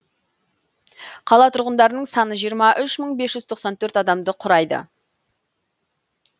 қала тұрғындарының саны жиырма үш мың бес жүз тоқсан төртінші адамды құрайды